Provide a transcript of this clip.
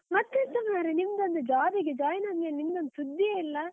ಮತ್ತ್ ಎಂತ ಮಾರ್ರೆ, ನಿಮ್ದ್ ಒಂದು job ಗೆ join ಅದ್ಮೇಲೆ ನಿಮ್ದ್ ಒಂದ್ ಸುದ್ದೀಯೇ ಇಲ್ಲ.